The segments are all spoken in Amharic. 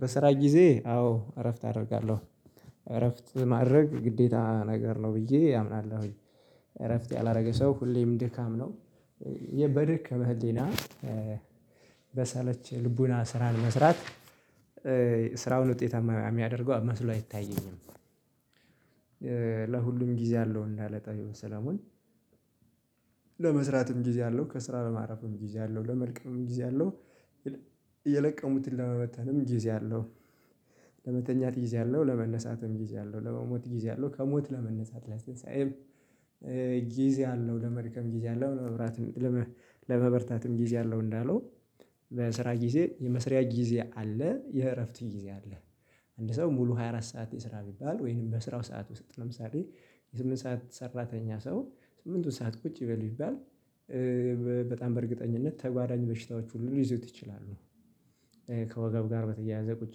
በስራ ጊዜ አዎ እረፍት አደርጋለሁ እረፍት ማድረግ ግዴታ ነገር ነው ብዬ አምናለሁኝ። እረፍት ያላደረገ ሰው ሁሌም ድካም ነው በደክመህ ህሊና በሰለች ልቡና ስራን መስራት ስራውን ውጤት የሚያደርገው መስሎ አይታየኝም። ለሁሉም ጊዜ አለው እንዳለ ጠቢቡ ሰለሞን ለመስራትም ጊዜ አለው ከስራ ለማረፍም ጊዜ አለው ለመልቀምም ጊዜ አለው የለቀሙትን ለመመተንም ጊዜ አለው፣ ለመተኛት ጊዜ አለው፣ ለመነሳትም ጊዜ አለው፣ ለመሞት ጊዜ አለው፣ ከሞት ለመነሳት ለትንሳኤም ጊዜ አለው፣ ለመድከም ጊዜ አለው፣ ለመበርታትም ጊዜ አለው እንዳለው በስራ ጊዜ የመስሪያ ጊዜ አለ፣ የእረፍት ጊዜ አለ አንድ ሰው ሙሉ ሃያ አራት ሰዓት የሰራ ቢባል ወይንም በስራው ሰዓት ውስጥ ነው ምሳሌ የስምንት ሰዓት ሰራተኛ ሰው ስምንቱን ሰዓት ቁጭ በል ቢባል በጣም በእርግጠኝነት ተጓዳኝ በሽታዎች ሁሉ ሊይዘው ይችላሉ። ከወጋው ጋር በተያያዘ ቁጭ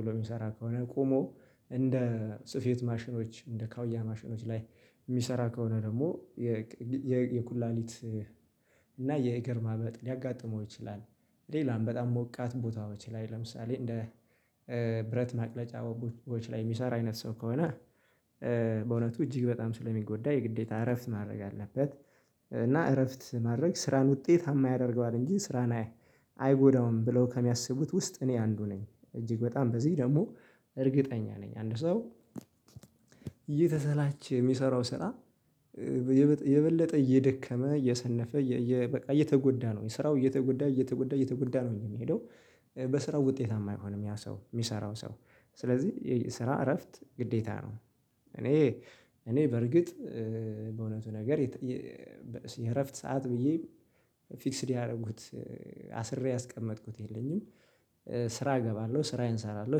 ብሎ የሚሰራ ከሆነ ቆሞ እንደ ጽፌት ማሽኖች እንደ ካውያ ማሽኖች ላይ የሚሰራ ከሆነ ደግሞ የኩላሊት እና የእግር ማመጥ ሊያጋጥመው ይችላል። ሌላም በጣም ሞቃት ቦታዎች ላይ ለምሳሌ እንደ ብረት ማቅለጫ ቦታዎች ላይ የሚሰራ አይነት ሰው ከሆነ በእውነቱ እጅግ በጣም ስለሚጎዳ የግዴታ እረፍት ማድረግ አለበት እና እረፍት ማድረግ ስራን ውጤታማ ያደርገዋል እንጂ ስራን አይጎዳውም ብለው ከሚያስቡት ውስጥ እኔ አንዱ ነኝ። እጅግ በጣም በዚህ ደግሞ እርግጠኛ ነኝ አንድ ሰው እየተሰላቸ የሚሰራው ስራ የበለጠ እየደከመ እየሰነፈ በቃ እየተጎዳ ነው ስራው እየተጎዳ እየተጉዳ እየተጉዳ ነው የሚሄደው በስራው ውጤታማ አይሆንም ያ ሰው የሚሰራው ሰው ስለዚህ ስራ እረፍት ግዴታ ነው እኔ እኔ በርግጥ በእውነቱ ነገር የእረፍት ሰዓት ብዬ ፊክስድ ያደረጉት አስሬ ያስቀመጥኩት የለኝም። ስራ እገባለሁ ስራዬን እሰራለሁ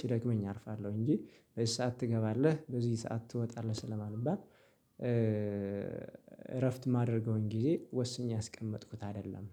ሲደግመኝ አርፋለሁ እንጂ በዚህ ሰዓት ትገባለህ በዚህ ሰዓት ትወጣለህ ስለማንባብ ስለማንባት እረፍት ማድረገውን ጊዜ ወስኜ ያስቀመጥኩት አይደለም።